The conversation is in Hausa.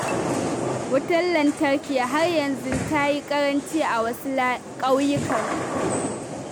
Wutar lantarki har yanzu ta yi ƙaranci a wasu ƙauyukan.